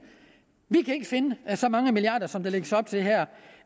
vi kan ikke finde så mange milliarder som der lægges op til her